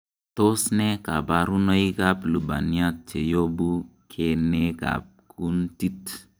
Tos nee koburonoikab Lubaniat cheyobu keneekab kuntit?